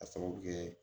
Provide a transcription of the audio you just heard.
K'a sababu kɛ